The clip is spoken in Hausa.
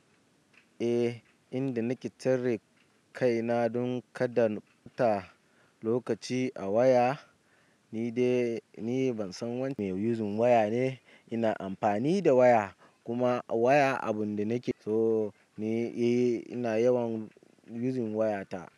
Eh, inda nake tare kaina don kaɗan ta lokaci a waya ni dai, ni ban san wani mai yuzin waya ne. Ina amfani da waya kuma waya abun da nake so ne. Eh, ina yawan yuzin waya ta.